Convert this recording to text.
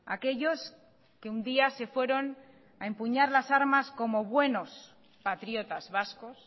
aquellos que un día se fueron a empuñar las armas como buenos patriotas vascos